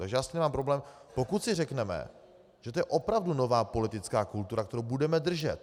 Takže já s tím nemám problém, pokud si řekneme, že to je opravdu nová politická kultura, kterou budeme držet.